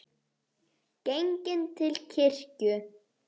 Genginn til kirkju.